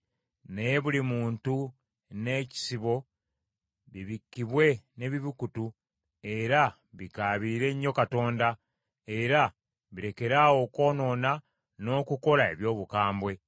naye buli muntu n’ekisibo bibikkibwe n’ebibukutu, era bikaabirire nnyo Katonda, era birekeraawo okwonoona n’okukola eby’obukambwe.